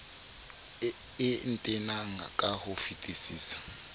e ntenang ka ho fetisisa